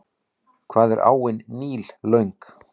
Hvað er áin Níl löng?